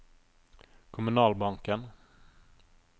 kommunalbanken